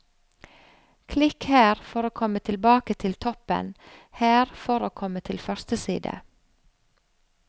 Klikk her for å komme tilbake til toppen, her for å komme til første side.